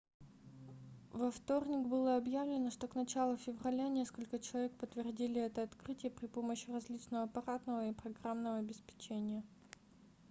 во вторник было объявлено что к началу февраля несколько человек подтвердили это открытие при помощи различного аппаратного и программного обеспечения